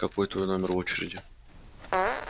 какой твой номер в очереди